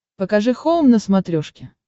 покажи хоум на смотрешке